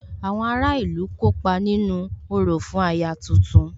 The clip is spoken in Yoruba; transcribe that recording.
Àwọn ará ìlú kópa nínú orò fún aya tuntun